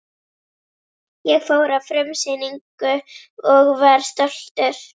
Ég fór á frumsýningu og var stoltur.